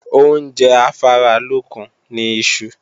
Oúnjẹ afáralókun ni iṣu